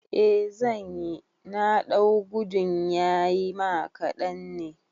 Eh zanyi, na ɗau gudun yayima kaɗan ne